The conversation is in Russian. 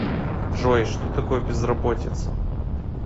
джой что такое безработица